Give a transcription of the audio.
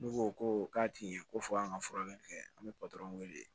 N'u ko ko k'a ti ye ko fɔ an ka furakɛli kɛ an bɛ wele